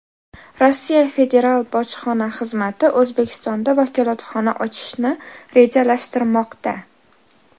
Rossiya Federal bojxona xizmati O‘zbekistonda vakolatxona ochishni rejalashtirmoqda.